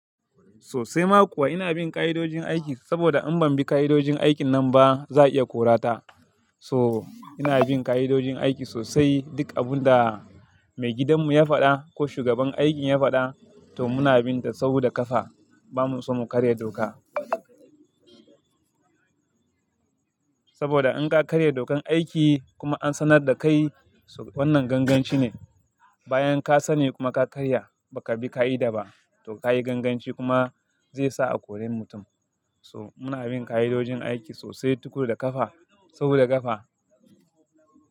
Sosai ma kuwa ina bin ka'idojin aiki saboda in ban bi ka'idojin aikin nan ba za a iya korata. So ina bin ka'idojin aiki sosai, duk abun da maigidan mu ya faɗa ko shugaban aikin ya faɗa to muna bin ta sauda ƙafa. Ba mu so mu karya doka. Saboda in ka karya dokan aiki kuma an sanar da kai wannan ganganci ne. Bayan ka sani kuma ka karya baka bi ka'ida ba to ka yi ganganci kuma zai sa a kore mutum. So muna bin ka'idojin aiki sosai tukuru da ƙafa sauda ƙafa.